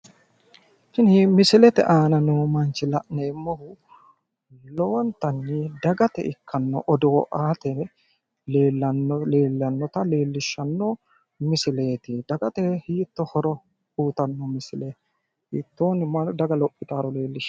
Tini misilete aana noo manchi la'neemmohu lowontanni dagate ikkanno odoo aate leellanno leellannota leellishshanno misileeti. dagate hiitto horo uuyitanno misileeti. hiittoonni daga lophitaaro leellishshanno misileeti.